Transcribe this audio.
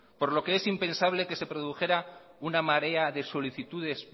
por lo que es impensable que se produjera una marea de solicitudes